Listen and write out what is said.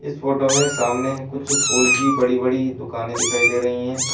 इस फोटो में सामने कुछ फूल की बड़ी बड़ी दुकाने दिखाई दे रही हैं।